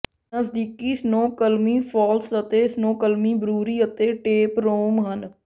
ਨਜ਼ਦੀਕੀ Snoqualmie Falls ਅਤੇ Snoqualmie Brewery ਅਤੇ ਟੇਪਰੋਮ ਹਨ